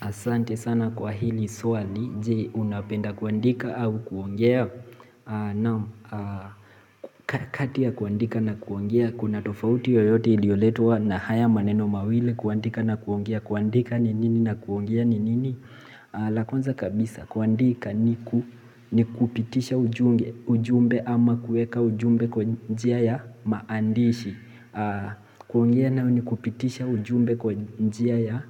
Asante sana kwa hili swali, je unapenda kuandika au kuongea. Kati ya kuandika na kuongea, kuna tofauti yoyote iliyoletwa na haya maneno mawili kuandika na kuongea. Kuandika ni nini na kuongea ni nini. La kwanza kabisa kuandika ni kupitisha ujumbe ama kueka ujumbe kwa njia ya maandishi. Kuongea nayo ni kupitisha ujumbe kwa njia ya